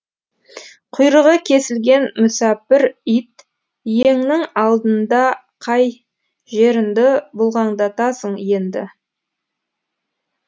құйрығы кесілген мүсәпір ит иеңнің алдындақай жерінді бұлғаңдатасың енді